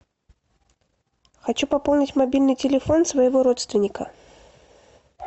хочу пополнить мобильный телефон своего родственника